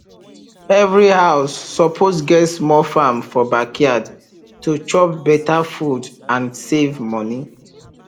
every house suppose get small farm for backyard to chop better food and save money